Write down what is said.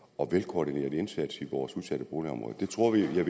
og velkoordineret indsats i vores udsatte boligområder det tror jeg